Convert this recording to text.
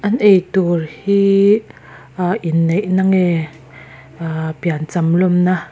an eitur hi ah inneih na nge ah piancham lawm na.